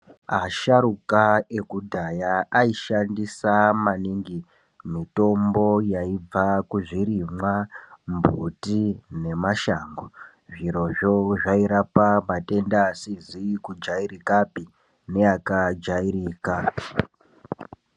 Asharuka ekudhaya aishandisa maningi mitombo yaibva kuzvirimwa mbuti nemashango zvirozvo zvairapa matenda asizi kujairikapi neakajairika.